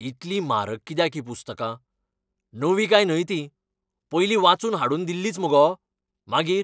इतलीं म्हारग कित्याक हीं पुस्तकां? नवीं काय न्हय न्ही तीं? पयलीं वाचून हाडून दिल्लींच मगो? मागीर?